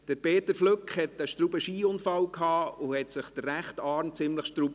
Peter Flück hatte einen üblen Skiunfall und verletzte sich dabei den rechten Arm ziemlich arg.